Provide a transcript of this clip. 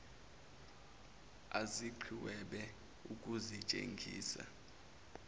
aziqh webe ukuzitshengisa